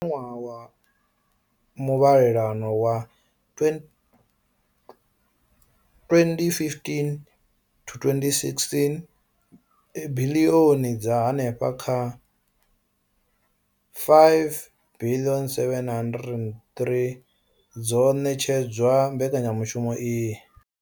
Kha ṅwaha wa muvhalelano wa 2015,16, biḽioni dza henefha kha R5 bilioni 703 dzo ṋetshedzwa mbekanya mushumo iyi.